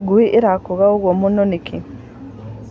Ngui ĩrakũga ũguo mũno nĩkĩ?